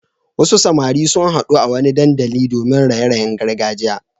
Wasu samari sun haɗu a wani dandali domin raye-rayen gargajiya.